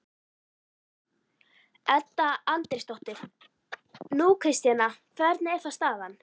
Edda Andrésdóttir: Nú, Kristjana, hvernig er þá staðan?